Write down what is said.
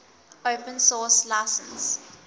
open source license